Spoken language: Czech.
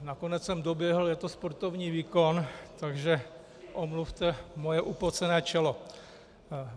Nakonec jsem doběhl, je to sportovní výkon, takže omluvte moje upocené čelo.